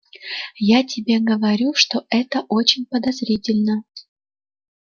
я тебе говорю что это очень подозрительно